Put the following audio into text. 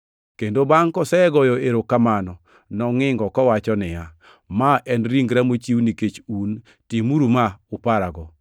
kendo bangʼ kosegoyo erokamano nongʼingo, kowacho niya, “Ma en ringra mochiw nikech un, timuru ma ka uparago.”